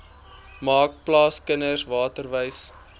maak plaaskinders waterwys